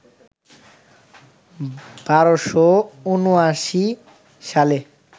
১২৭৯ সালে